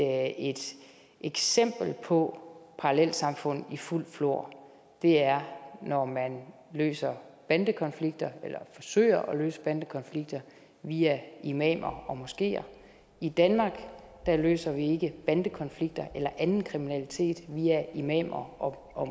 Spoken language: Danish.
at et eksempel på parallelsamfund i fuldt flor er når man løser bandekonflikter eller forsøger at løse bandekonflikter via imamer og i moskeer i danmark løser vi ikke bandekonflikter eller anden kriminalitet via imamer og